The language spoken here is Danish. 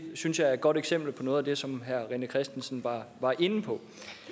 synes jeg er et godt eksempel på noget af det som herre rené christensen var inde på